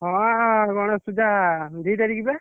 ହଁ ଅଁ ଗଣେଶପୂଜା ଦି ତାରିଖ ବା।